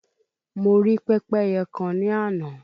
Mo rí pẹ́pẹ́yẹ kan ní àná